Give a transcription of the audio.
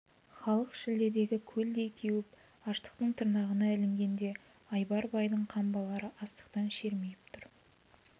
халық шілдедегі көлдей кеуіп аштықтың тырнағына ілінгенде айбар байдың қамбалары астықтан шермиіп тұр